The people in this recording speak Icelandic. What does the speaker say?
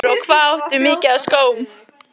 Magnús Hlynur: Og hvað áttu mikið af skóm?